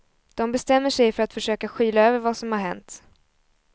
De bestämmer sig för att försöka skyla över vad som har hänt.